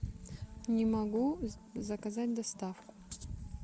не могу заказать доставку